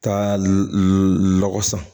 Ka lɔgɔ san